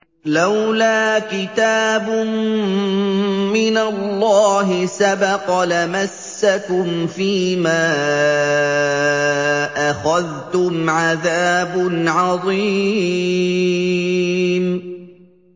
لَّوْلَا كِتَابٌ مِّنَ اللَّهِ سَبَقَ لَمَسَّكُمْ فِيمَا أَخَذْتُمْ عَذَابٌ عَظِيمٌ